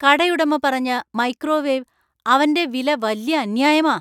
കടയുടമ പറഞ്ഞ മൈക്രോവേവ് അവന്‍റെ വില വല്യ അന്യായമാ.